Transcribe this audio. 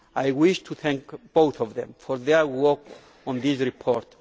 I wish to thank both of them for their work on this report.